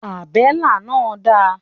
Àbélà náà dà?